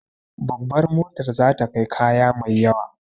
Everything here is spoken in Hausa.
Babar motar za ta kai kaya mai yawa